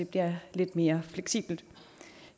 bliver lidt mere fleksibelt